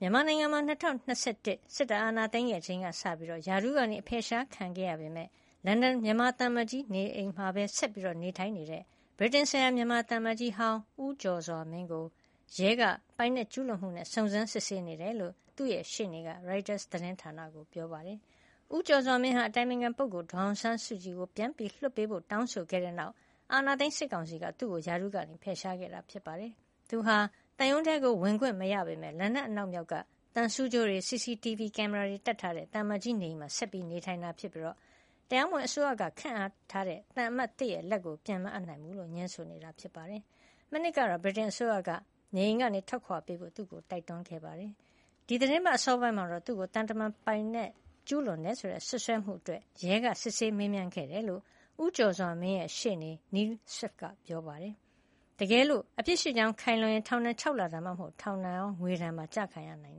မြန်မာနိုင်ငံမှာ ၂၀၂၁ စစ်တပ်အာဏာသိမ်းခဲ့ချိန်ကစပြီး ရာထူးကအဖယ်ရှားခံခဲ့ရပေမယ့် လန်ဒန်မြန်မာသံအမတ်ကြီးနေအိမ်မှာပဲ ဆက်လက်နေထိုင်နေတဲ့ ဗြိတိန်ဆိုင်ရာ မြန်မာသံအမတ်ကြီးဟောင်း ဦးကျော်စွာမင်းကို ရဲက ပိုင်နက်ကျူးလွန်မှုနဲ့ စုံစမ်း စစ်ဆေးနေတယ်လို့ သူ့ရှေ့နေက ရိုက်တာသတင်းဌာနကို ပြောပါတယ်။ ဦးကျော်စွာမင်းဟာ အတိုင်ပင်ခံပုဂ္ဂိုလ် ဒေါ်အောင်ဆန်းစုကြည်ကို ပြန်လွှတ်ပေးဖို့ တောင်းဆိုခဲ့တဲ့နောက် အာဏာသိမ်းစစ်ကောင်စီက သူ့ကို ရာထူးကဖယ်ရှားခဲ့တာ ဖြစ်ပါတယ်။ သူဟာ သံရုံးထဲ ဝင်ခွင့်မရပေမယ့် လန်ဒန်အနောက်မြောက်က သံဆူးကြိုးတွေ CCTV ကင်မရာတွေတပ်ထားတဲ့ သံအမတ်ကြီးနေအိမ်မှာ ဆက်လက်နေထိုင်နေတာ ဖြစ်ပြီး တရားမဝင်အစိုးရက ခန့်ထားတဲ့သံအမတ်သစ် လက်ကို ပြန်မအပ်နိုင်ကြောင်း ငြင်းဆိုနေတာပါ။ မနှစ်ကတော့ ဗြိတိန်အစိုးရက နေအိမ်ကနေ ထွက်ခွါပေးဖို့ သူ့ကိုတိုက်တွန်းခဲ့ပါတယ်။ ဒီသီတင်းပတ်အစောပိုင်းမှာတော့ သူ့ကို သံတမန်ပိုင်နက်ကျူးလွန်တယ်ဆိုတဲ့ စွပ်စွဲမှုအတွက် ရဲကစစ်ဆေးမေးမြန်းခဲ့တယ်လို့ ဦးကျော်စွာမင်းရဲ့ ရှေ့နေ Neil Swift က ပြောပါတယ်။ တကယ်လို့ အပြစ်ရှိကြောင်းခိုင်လုံရင် ထောင်ဒဏ် ၆ လ ဒါမှမဟုတ် ထောင်ဒဏ်ရော ငွေဒဏ်ပါ ကျခံရနိုင်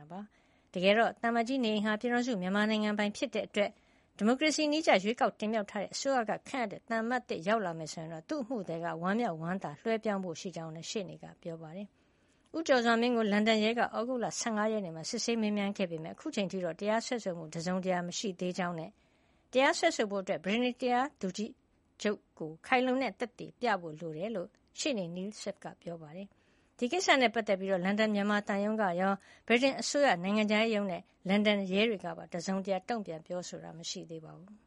တာပါ။ တကယ်တော့ သံအမတ်ကြီးနေအိမ်ဟာ ပြည်ထောင်စုမြန်မာနိုင်ငံပိုင်ဖြစ်တဲ့အတွက် ဒီမိုကရေစီနည်းကျ ရွေးကောက်တင်မြှောက်ထားတဲ့အစိုးရကခန့်အပ်တဲ့ သံအမတ်သစ် ရောက်လာမယ်ဆိုရင်တော့ သူ့အမှုသည်က ဝမ်းမြောက်ဝမ်းသာလွှဲပြောင်းပေးဖို့ရှိကြောင်းလည်း ရှေ့နေက ပြောပါတယ်။ ဦးကျော်စွာမင်းကို လန်ဒန်ရဲက သြဂုတ်လ ၁၅ ရက်နေ့မှာ စစ်ဆေးမေးမြန်းခဲ့ပေမယ့် အခုအချိန်ထိတော့ တရားစွဲဆိုမှု တစုံတရာမရှိသေးကြောင်းနဲ့ တရားစွဲဆိုဖို့ ဗြိတိန်တရားသူကြီးချုပ်ကို ခိုင်လုံတဲ့ သက်သေပြဖို့လိုကြောင်းလည်း ရှေ့နေ Neil Swift က ပြောပါတယ်။ ဒီကိစ္စနဲ့ပတ်သက်ပြီး လန်ဒန်မြန်မာသံရုံးကရော၊ ဗြိတိန်အစိုးရနိုင်ငံခြားရေးရုံးနဲ့ လန်ဒန်ရဲတွေက တစုံတရာ တုံ့ပြန် ပြောဆိုတာမရှိသေးပါဘူး။